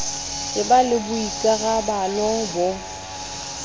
e ba le boikarabalo bo